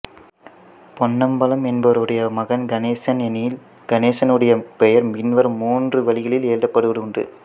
பொன்னம்பலம் என்பவருடைய மகன் கணேசன் எனில் கணேசனுடைய பெயர் பின்வரும் மூன்று வழிகளில் எழுதப்படுவதுண்டு